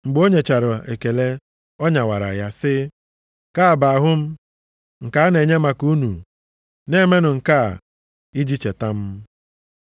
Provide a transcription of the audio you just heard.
Mgbe o nyechara ekele, ọ nyawara ya sị, “Nke a bụ ahụ m nke a na-enye maka unu. Na-emenụ nke a iji cheta m.”